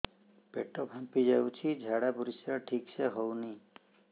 ପେଟ ଫାମ୍ପି ଯାଉଛି ଝାଡ଼ା ପରିସ୍ରା ଠିକ ସେ ହଉନି